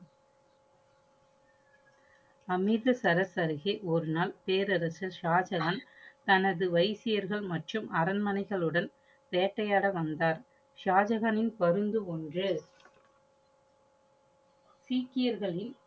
அமிர்த சரஸ் அருகே ஒரு நாள் பேரராசர் சாஜஹான் தனது வைசியர்கள் மற்றும் அரண்மனைகளுடன் வேட்டையாட வந்தார். சாஜக்ஹானின் பருந்து ஒன்று சீக்கியர்களின்